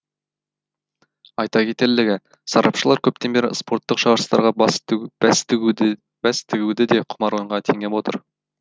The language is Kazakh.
айта кетерлігі сарапшылар көптен бері спорттық жарыстарға бәс тігуді де құмар ойынға теңеп отыр